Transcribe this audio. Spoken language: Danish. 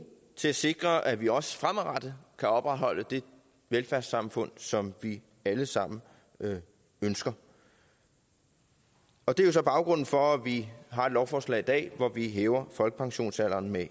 til at sikre at vi også fremadrettet kan opretholde det velfærdssamfund som vi alle sammen ønsker og det er så baggrunden for at vi har et lovforslag i dag hvor vi hæver folkepensionsalderen med